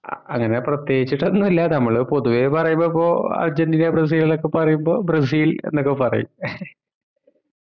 ആഹ് അങ്ങനെ പ്രത്യേകിച്ചിട്ട് ഒന്ന് ഇല്ല നമ്മള് പൊതുവെ പരമ്പൊ ഇപ്പൊ അർജന്റീന ബ്രസിൽ ന്നൊക്കെ പറയുമ്പോ ബ്രസിൽ ന്നൊക്കെ പറയും